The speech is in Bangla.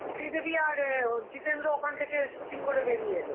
শ্রীদেবী আর এ অ জিতেন্দ্র ওখান থেকে shooting করে বেরিয়ে এলো.